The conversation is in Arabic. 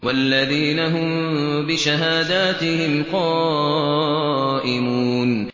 وَالَّذِينَ هُم بِشَهَادَاتِهِمْ قَائِمُونَ